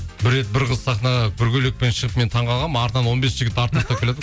бір рет бір қыз сахнаға бір көйлекпен шығып мен таңғалғанмын артынан он бес жігіт артын